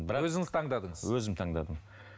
бірақ өзіңіз таңдадыңыз өзім таңдадым